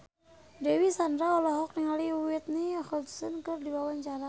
Dewi Sandra olohok ningali Whitney Houston keur diwawancara